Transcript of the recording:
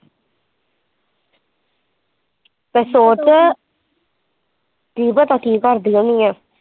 ਤੇ ਸੋਚ ਕੀ ਪਤਾ ਕੀ ਕਰਦੀ ਹੋਣੀ ਹੈ।